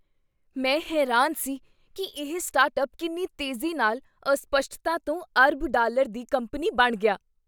ਮੈਂ ਹੈਰਾਨ ਸੀ ਕੀ ਇਹ ਸਟਾਰਟਅੱਪ ਕਿੰਨੀ ਤੇਜ਼ੀ ਨਾਲ ਅਸਪਸ਼ਟਤਾ ਤੋਂ ਅਰਬ ਡਾਲਰ ਦੀ ਕੰਪਨੀ ਬਣ ਗਿਆ।